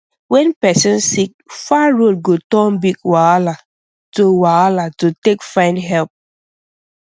when person sick far road go turn big wahala to wahala to take find help